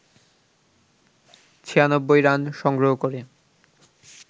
৯৬ run সংগ্রহ করে